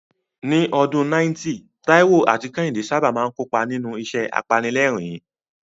Ní ọdún 90, Taiwo àti Kehinde sábà máa ń kópa nínú ìṣẹ̀lẹ̀ apanilẹ́rìn-ín.